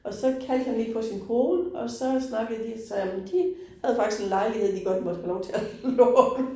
Og så kaldte han lige på sin kone, og så snakkede de så om de havde faktisk en lejlighed, de godt måtte have lov til at låne